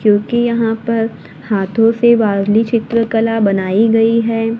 क्योंकि यहां पर हाथों से बावली चित्रकला बनाई गई है।